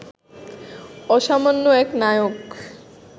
অসামান্য এক নায়ক